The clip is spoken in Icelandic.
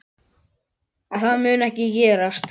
Það mun ekki gerast.